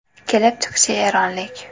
Kelib chiqishi eronlik.